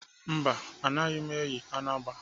Mba, anaghị m eyi anagba.